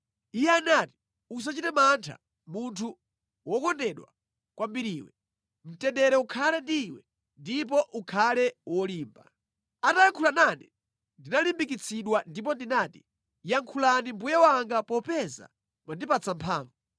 Iye anati, “Usachite mantha, munthu wokondedwa kwambiriwe. Mtendere ukhale ndi Iwe ndipo ukhale wolimba.” Atayankhula nane, ndinalimbikitsidwa ndipo ndinati, “Yankhulani Mbuye wanga, popeza mwandipatsa mphamvu.”